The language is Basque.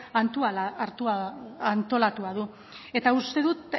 antolatua du eta uste dut